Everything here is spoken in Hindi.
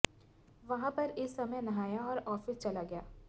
वहाँ पर इस समय नहाया और ऑफिस चला गया